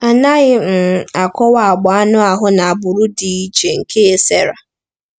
A naghị um akọwa agba anụ ahụ na agbụrụ dị iche nke Sarah.